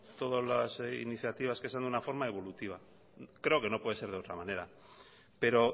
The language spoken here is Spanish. todas las iniciativas que sean en una forma evolutiva creo que no puede ser de otra manera pero